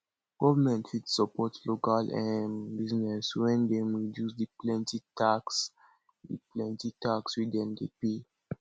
government fit support local um business when dem reduce di plenty tax di plenty tax wey dem de pay